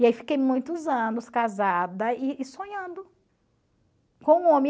E aí fiquei muitos anos casada e e sonhando com o homem.